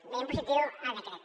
veiem positiu el decret